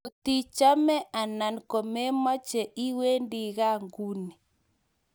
Ngotichame anan komechame, iwendi kaa nguni.